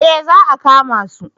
Eh za a kama su?